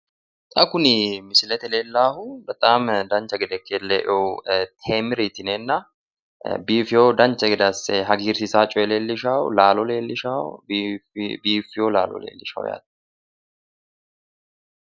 xa kuni misilete aana leellannohu bexaam dancha gede ikke leinohu temiri yineenna biifinoha dancha gede asse hagiirsiisa coye laalo leellishshanno biiffino laalo leellishshanno yaate.